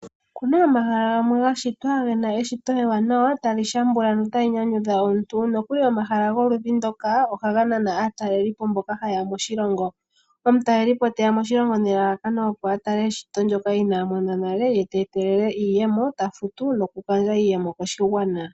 Oku na omahala gamwe ga shitwa ge na eshito ewanawa tali shambula notali nyanyudha omuntu. Nokuli omahala goludhi ndoka ohaga nana aatalelipo mboka haye ya moshilongo. Omutalelipo te ya moshilongo nelalakano, opo a tale eshito ndyoka inaa mona nale, ye te etelele iiyemo, ta futu nokugandja iiyemo koshigwana.